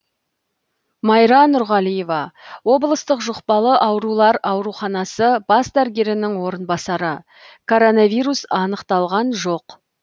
майра нұрғалиева облыстық жұқпалы аурулар ауруханасы бас дәрігерінің орынбасары коронавирус анықталған жоқ